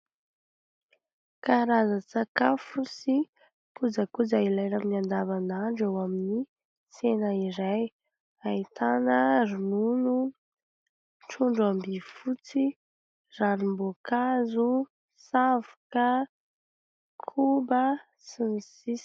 Karazan-tsakafo sy kojakoja ilaina amin'ny andavan'andro eo amin'ny tsena iray ahitana : ronono, trondro am-by fotsy, ranom-boankazo, savoka, koba, sy ny sisa ...